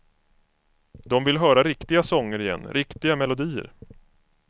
De vill höra riktiga sånger igen, riktiga melodier.